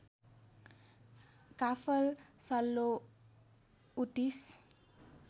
काफल सल्लो उतिस